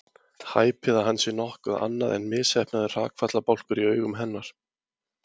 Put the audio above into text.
Hæpið að hann sé nokkuð annað en misheppnaður hrakfallabálkur í augum hennar.